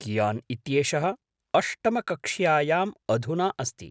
कियान् इत्येषः अष्टमकक्षायाम् अधुना अस्ति।